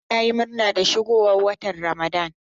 Hamza yayi murna da shigowar watan Ramadan.